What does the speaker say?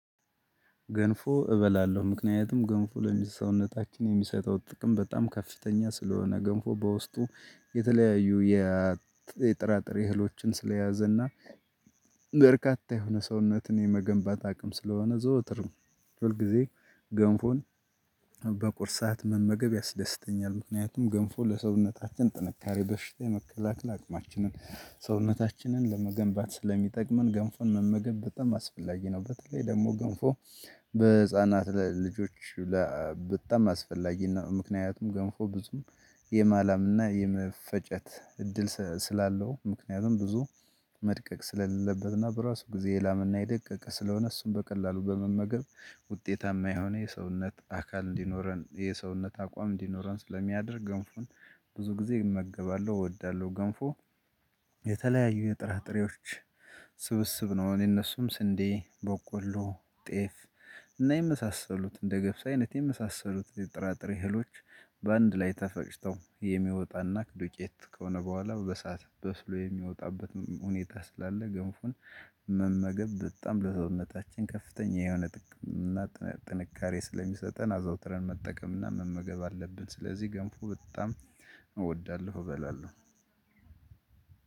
ገንፎ እበላለሁ ምክንያቱም ገንፎ ለሚሰውነታችን የሚሰጠው ጥቅም በጣም ከፍተኛ ስለሆነ ገንፎ በውስጡ የተለያዩ የጥራጥሬ እህሎችን ስለያዘና በርካታ የሆነ ሰውነትን የመገንባት አቅም ስለሆነ ዘወትርም ሁልጊዜ ገንፎን በቁርስ ሰዓት መመገብ ያስደስተኛል። ምክንያቱም ገንፎ ለሰውነታችን ጥንካሬ በሽታ የመከላከል አቅማችንን ሰውነታችንን ለመገንባት ስለሚጠቅመን ገንፎን መመገብ በጣም አስፈላጊ ነው። በተለይ ደግሞ ገንፎ በህፃናት ልጆች በጣም አስፈላጊ ነው። ምክንያቱም ገንፎ ብዙም የማላምና የመፈጨት እድል ስላለው። ምክንያቱም ብዙ መድቀቅ ስለሌለበትና በራሱ ጊዜ የላመና የደቀቀ ስለሆነ። እሱን በቀላሉ በመመገብ ውጤታማ የሆነ የሰውነት አካል እንዲኖረን የሰውነት አቋም እንዲኖረን ስለሚያደርግ ገንፎን ብዙ ጊዜ እመገባለሁ እወዳለሁ። ገንፎ የተለያዩ የጥራጥሬዎች ስብስብ ነው። አሁን የነሱም ስንዴ በቆሎ ጤፍ እና የመሳሰሉት እንደ ገብስ አይነት የመሳሰሉት የጥራጥሬ እህሎች። በአንድ ላይ ተፈጭተው የሚወጣና ዱቄት ከሆነ በኋላ በሰአት በስሎ የሚወጣበት ሁኔታ ስላለ። ገንፎን መመገብ በጣም ለሰውነታችን ከፍተኛ የሆነ ጥንካሬ ስለሚሰጠን አዘውትረን መጠቀምና መመገብ አለብን። ስለዚህ ገንፎ በጣም እወዳለሁ እበላለሁ።